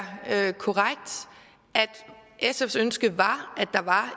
korrekt at sfs ønske var at der var